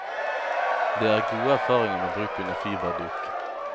Det er gode erfaringer med bruk under fiberduk.